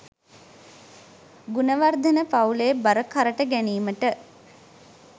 ගුණවර්ධන පවුලේ බර කරට ගැනීමට